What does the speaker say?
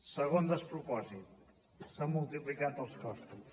segon despropòsit s’han multiplicat els costos